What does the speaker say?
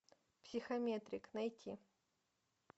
психометрик найти